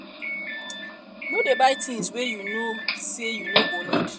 no dey buy things wey you know sey you no go need